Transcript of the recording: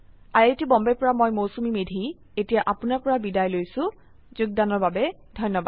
I I T Bombay ৰ পৰা মই মৌচুমী মেধী এতিয়া আপুনাৰ পৰা বিদায় লৈছো যোগদানৰ বাবে ধন্যবাদ